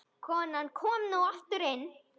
Konan kom nú aftur inn.